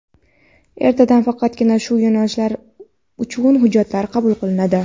ertadan faqatgina shu yo‘nalishlari uchun hujjatlar qabul qilinadi.